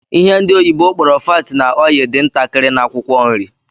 Ihe ndi oyibo kpororo 'fat na oil' dị ntakịrị na Akwụkwọ nri